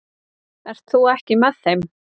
Ert þú ekki með þeim?